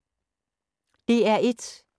DR1